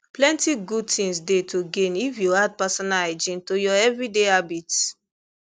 plenty good things dey to gain if you add personal hygiene to your everyday habits